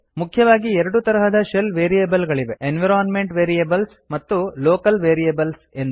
ಮುಖ್ಯವಾಗಿ ಎರಡು ತರಹದ ಶೆಲ್ ವೇರಿಯೇಬಲ್ ಗಳಿವೆ ಎನ್ವಿರೋನ್ಮೆಂಟ್ ವೇರಿಯೇಬಲ್ಸ್ ಮತ್ತು ಲೋಕಲ್ ವೇರಿಯೇಬಲ್ಸ್ ಎಂದು